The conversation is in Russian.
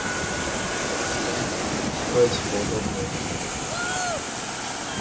возьмите его в дом и устройте поудобнее